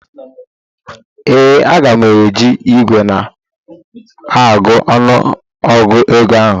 ee, Aga m eji igwe na-agụ ọnụgụ gụọ ego ahụ